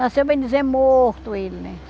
Nasceu, bem dizer, morto ele, né?